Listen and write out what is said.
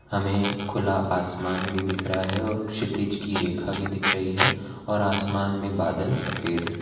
हमें खुला आसमान भी दिख रहा है और क्षितिज की रेखा भी दिख रही है और आसमान में बादल सफेद है।